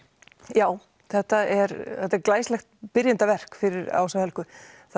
já þetta er þetta er glæsilegt fyrir Ásu Helgu